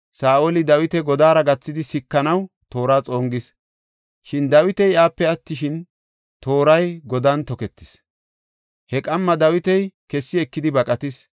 Saa7oli Dawita godaara gathidi sikanaw toora xongis; Shin Dawiti iyape deesh gidi attin, tooray godan toketis. He qamma Dawiti kessi ekidi baqatis.